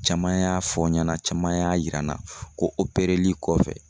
Caman y'a fɔ n ɲɛna caman y'a yira n na ko opereli kɔfɛ